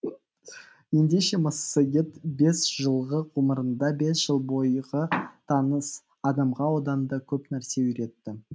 ендеше массагет бес жылғы ғұмырында бес жыл бойғы таныс адамға одан да көп нәрсе үйретті